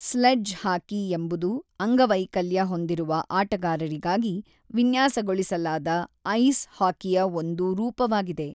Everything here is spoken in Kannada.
ಸ್ಲೆಡ್ಜ್ ಹಾಕಿ ಎಂಬುದು ಅಂಗವೈಕಲ್ಯ ಹೊಂದಿರುವ ಆಟಗಾರರಿಗಾಗಿ ವಿನ್ಯಾಸಗೊಳಿಸಲಾದ ಐಸ್ ಹಾಕಿಯ ಒಂದು ರೂಪವಾಗಿದೆ.